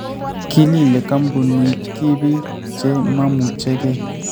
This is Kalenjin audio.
Kilile koombunitbiik che mamuchekei